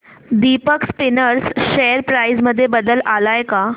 Deepak spinners share price मध्ये बदल आलाय का